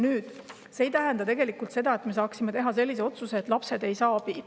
Nüüd, see ei tähenda seda, et me saaksime teha otsuse, et lapsed ei saa abi.